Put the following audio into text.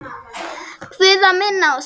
Guð að minna á sig.